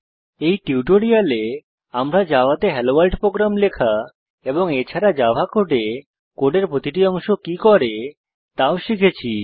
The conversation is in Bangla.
এই টিউটোরিয়ালে আমরা জাভাতে হেলোভোর্ল্ড প্রোগ্রাম লেখা এবং এছাড়া জাভা কোডে কোডের প্রতিটি অংশ কি করে তাও শিখেছি